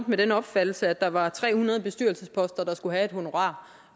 med den opfattelse at der var tre hundrede bestyrelsesposter der skulle have et honorar